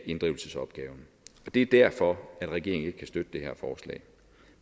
inddrivelsesopgaven det er derfor at regeringen ikke kan støtte det her forslag